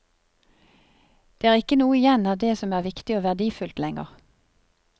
Det er ikke noe igjen av det som er viktig og verdifullt lenger.